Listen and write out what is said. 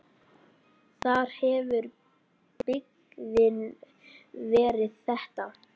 Þar hefur byggðin verið þétt.